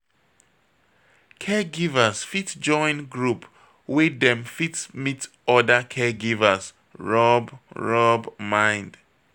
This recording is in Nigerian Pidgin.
Caregivers fit join group wey dem fit meet oda caregivers rub rub mind